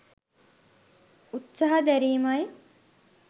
උත්සාහ දෑරීමයි.